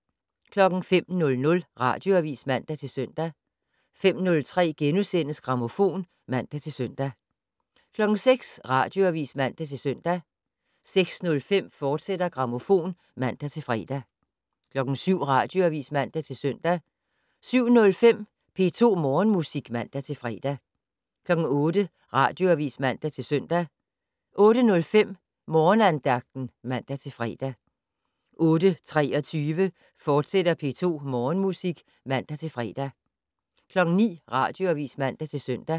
05:00: Radioavis (man-søn) 05:03: Grammofon *(man-søn) 06:00: Radioavis (man-søn) 06:05: Grammofon, fortsat (man-fre) 07:00: Radioavis (man-søn) 07:05: P2 Morgenmusik (man-fre) 08:00: Radioavis (man-søn) 08:05: Morgenandagten (man-fre) 08:23: P2 Morgenmusik, fortsat (man-fre) 09:00: Radioavis (man-søn)